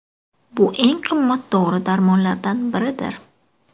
Bu eng qimmat dori-darmonlardan biridir.